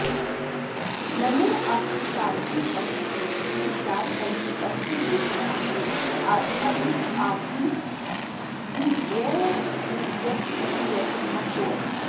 नन्वत्र काचिदतिशयोक्तिः स्यात् परन्तु तस्य वेतनादप्यधिक आसीत्तदीयव्यय इत्यत्र न कोऽपि सन्देहः